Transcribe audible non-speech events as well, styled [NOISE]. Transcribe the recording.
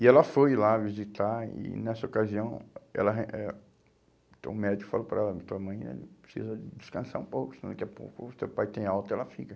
E ela foi lá visitar e nessa ocasião, ela [UNINTELLIGIBLE] eh o médico falou para ela, tua mãe precisa descansar um pouco, senão daqui a pouco o teu pai tem alta e ela fica.